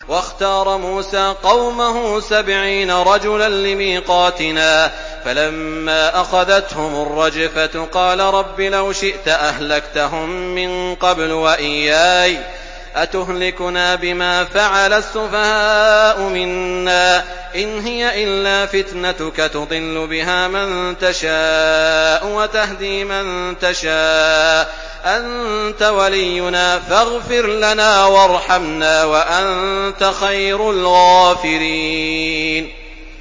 وَاخْتَارَ مُوسَىٰ قَوْمَهُ سَبْعِينَ رَجُلًا لِّمِيقَاتِنَا ۖ فَلَمَّا أَخَذَتْهُمُ الرَّجْفَةُ قَالَ رَبِّ لَوْ شِئْتَ أَهْلَكْتَهُم مِّن قَبْلُ وَإِيَّايَ ۖ أَتُهْلِكُنَا بِمَا فَعَلَ السُّفَهَاءُ مِنَّا ۖ إِنْ هِيَ إِلَّا فِتْنَتُكَ تُضِلُّ بِهَا مَن تَشَاءُ وَتَهْدِي مَن تَشَاءُ ۖ أَنتَ وَلِيُّنَا فَاغْفِرْ لَنَا وَارْحَمْنَا ۖ وَأَنتَ خَيْرُ الْغَافِرِينَ